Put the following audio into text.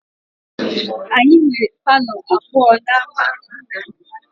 Anyị nwere palọ abụọ n'ámá nna m